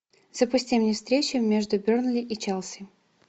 запусти мне встречу между бернли и челси